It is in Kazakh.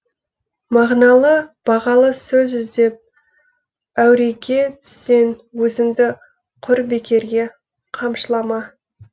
мағыналы бағалы сөз іздеп әуреге түссең өзіңді құр бекерге қамшылама